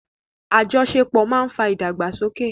Àjọṣepọ̀ máa ń fa ìdàgbàsókè.